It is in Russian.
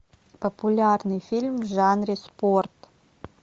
популярный фильм в жанре спорт